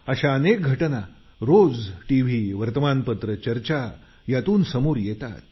अशा अनेक घटना रोज टीव्ही वर्तमानपत्र चर्चा यातून समोर येतात